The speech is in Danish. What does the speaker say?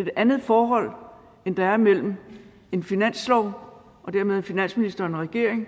et andet forhold end der er imellem en finanslov og dermed finansministeren og regeringen